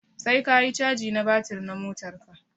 Sai ka yi caji na batir na motar ka.